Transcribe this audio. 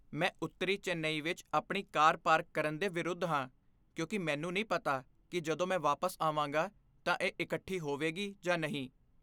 ਮੈਂ ਉੱਤਰੀ ਚੇਨਈ ਵਿੱਚ ਆਪਣੀ ਕਾਰ ਪਾਰਕ ਕਰਨ ਦੇ ਵਿਰੁੱਧ ਹਾਂ ਕਿਉਂਕਿ ਮੈਨੂੰ ਨਹੀਂ ਪਤਾ ਕਿ ਜਦੋਂ ਮੈਂ ਵਾਪਸ ਆਵਾਂਗਾ ਤਾਂ ਇਹ ਇਕੱਠੀ ਹੋਵੇਗੀ ਜਾਂ ਨਹੀਂ।